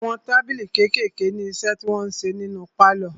Àwọn tábìlì kékèèké ní iṣẹ́ tí wọn ń ṣe nínu pálọ̀.